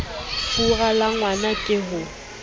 fura la ngwna ke ho